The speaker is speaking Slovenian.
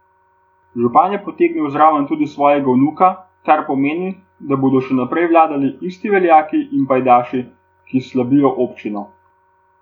Župan je potegnil zraven tudi svojega vnuka, kar pomeni, da bodo še naprej vladali isti veljaki in pajdaši, ki slabijo občino.